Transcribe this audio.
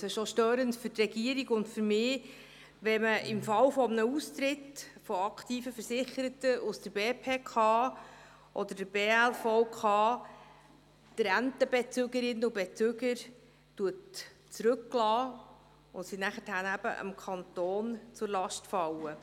Es ist auch störend für die Regierung und für mich, wenn man im Fall eines Austritts von aktiven Versicherten aus der BPK oder der Bernischen Lehrerversicherungskasse (BLVK) die Rentenbezügerinnen und -bezüger zurücklässt und diese nachher dem Kanton zur Last fallen.